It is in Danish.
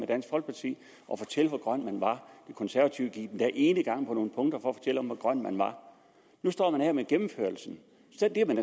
dansk folkeparti at fortælle hvor grøn man var de konservative gik endda enegang på nogle punkter fortælle om hvor grøn man var nu står man her med gennemførelsen